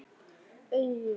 Augun vot.